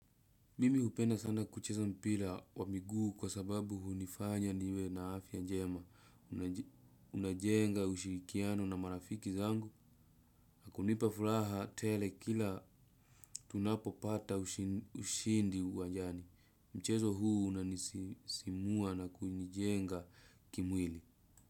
Mimi hupeana sana kuchesa mpila wa miguu kwa sababu hunifanya niwe na afiya njema. Unajenga ushirikiano na marafiki zangu. Nakunipa furaha tele kila tunapo pata ushindi uwajani. Mchezo huu unanisisimua na kunijenga kimwili.